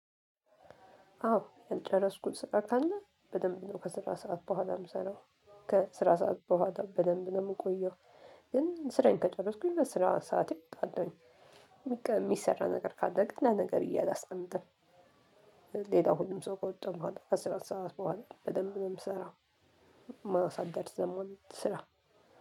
አዎ ያልጨረስኩት ስራ ካለ በደንብ ነው ከስራ ሰዓት በኋላ የምሰራው ከስራ ሰዓት በኋላ በደንብ ነው የምንቆየው። ግን ስራዬን ከጨረስኩኝ በስራ ሰዓት እወጣለሁኝ። የሚሰራ ነገር ካለ ግን ለነገ ብዬ አላስቀምጥም። ሌላው ሁሉም ሰው ከወጣ በኋላ ከስራ ሰዓት በኋላ በደንብ ነው የምሰራው። ማሳደር ስለማልወድ ስራ